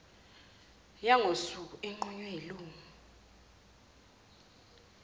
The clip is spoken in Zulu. yangosuku inqunywe yilungu